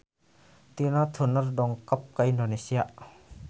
Tina Turner dongkap ka Indonesia